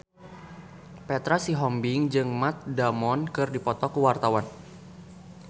Petra Sihombing jeung Matt Damon keur dipoto ku wartawan